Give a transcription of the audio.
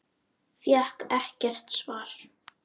Fékk ekkert svar.